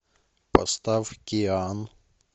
поставь киан